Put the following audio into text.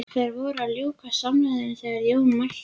Þeir voru að ljúka samræðunum þegar Jón mælti